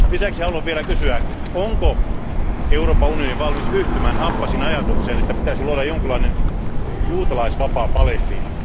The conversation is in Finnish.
Lisäksi haluan vielä kysyä, onko Euroopan unioni valmis yhtymään Abbasin ajatukseen siitä, että pitäisi luoda jonkinlainen juutalaisvapaa Palestiina?